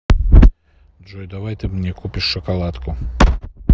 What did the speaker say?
джой давай ты мне купишь шоколадку